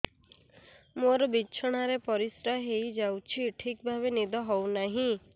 ମୋର ବିଛଣାରେ ପରିସ୍ରା ହେଇଯାଉଛି ଠିକ ଭାବେ ନିଦ ହଉ ନାହିଁ